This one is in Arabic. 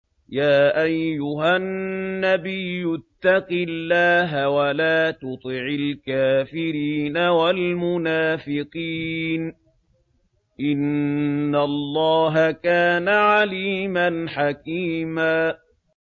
يَا أَيُّهَا النَّبِيُّ اتَّقِ اللَّهَ وَلَا تُطِعِ الْكَافِرِينَ وَالْمُنَافِقِينَ ۗ إِنَّ اللَّهَ كَانَ عَلِيمًا حَكِيمًا